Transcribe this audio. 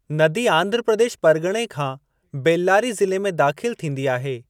नदी आंध्र प्रदेश परगि॒णे खां बेल्लारी ज़िले में दाख़िलु थींदी आहे।